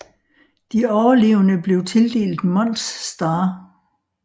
De overlevende blev tildelt Mons Star